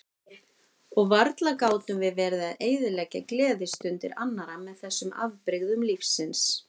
Og varla gátum við verið að eyðileggja gleðistundir annarra með þessum afbrigðum lífsins.